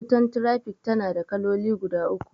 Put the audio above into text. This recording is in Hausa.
Wutan trafik tana da kaloli guda uku.